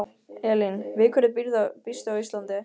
Elín: Við hverju býstu á Íslandi?